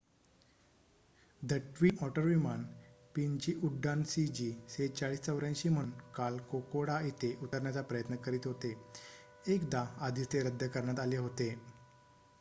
the Twin Otter विमान पीनजी उड्डाण सीजी4684 म्हणून काल कोकोडा इथे उतरण्याचा प्रयत्न करीत होते एकदा आधीच ते रद्द करण्यात आले होते